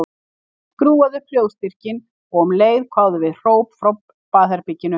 Hún skrúfaði upp hljóðstyrkinn og um leið kváðu við hróp frá baðherberginu.